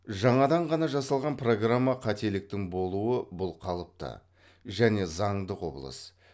жаңадан ғана жасалған программа қателіктің болуы бұл қалыпты және заңды құбылыс